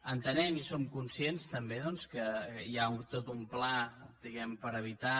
entenem i som conscients també doncs que hi ha tot un pla diguem ne per evitar